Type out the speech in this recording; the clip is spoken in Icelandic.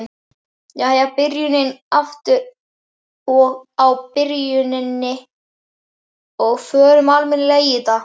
Jæja, byrjum aftur á byrjuninni og förum almennilega í þetta.